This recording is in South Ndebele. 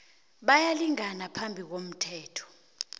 bayalingana phambi komthetho